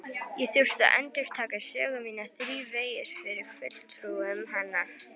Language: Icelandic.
Ég þurfti að endurtaka sögu mína þrívegis fyrir fulltrúum hennar.